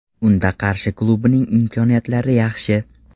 Unda Qarshi klubining imkoniyatlari yaxshi.